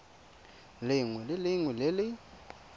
lengwe le lengwe le le